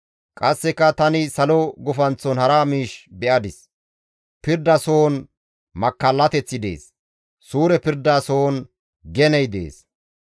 Qasseka tani salo gufanththon hara miish be7adis; pirda sohon makkallateththi dees; suure pirda sohon geney dees.